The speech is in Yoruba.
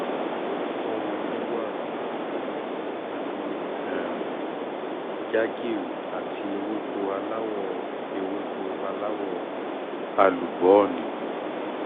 fún un ní wàrà um pẹ̀lú um jaggery àti ewéko aláwọ̀ ewéko aláwọ̀ àlùbọ́ọ́nì